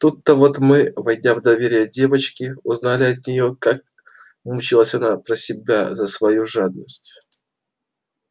тут-то вот мы войдя в доверие девочки узнали от неё как мучилась она про себя за свою жадность